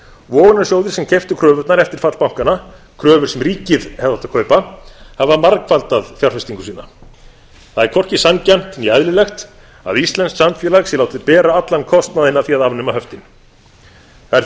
vogunarsjóðir sem keyptu kröfurnar eftir fall bankanna kröfur sem ríkið hefði átt að kaupa hafa margfaldað fjárfestingu sína það er hvorki sanngjarnt né eðlilegt að íslenskt samfélag sé látið bera allan kostnaðinn af því að afnema höftin það er því